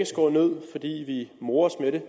skåret ned fordi vi morer os ved det